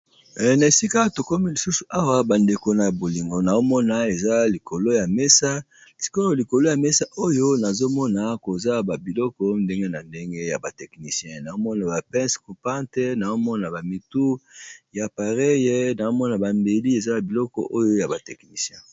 Ehh nahesika tokomi Awa bandeko nazomona mesa Moko yakitoko lokolo nango nazomona ba pence naba appareil Yaba technicien